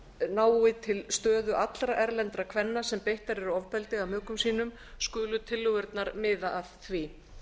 nái til stöðu allra erlendra kvenna sem beittar eru ofbeldi af mökum sínum skulu tillögurnar miða að því